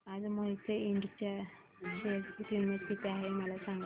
आज मोहिते इंड च्या शेअर ची किंमत किती आहे मला सांगा